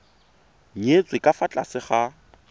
nyetswe ka fa tlase ga